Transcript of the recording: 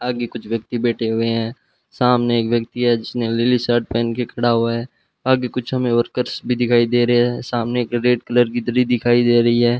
आगे कुछ व्यक्ति बैठे हुए हैं सामने एक व्यक्ति है जिसने नीली शर्ट पहन के खड़ा हुआ है आगे हमे कुछ वर्कर्स भी दिखाई दे रहे सामने एक रेड कलर की दरी दिखाई दे रही है।